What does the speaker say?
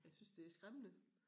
Jeg synes det er skræmmende